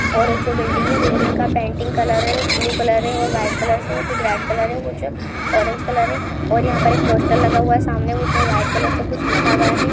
और ये जो बिल्डिग है बिल्डिग का पेंटिंग कलर है और ब्लू कलर है और वाइट कलर से कुछ रेड कलर है। कुछ ऑरेंज कलर है और यहाँ पर एक पोस्टर लगा हुआ सामने उसमे वाइट कलर से कुछ लिखा गया है।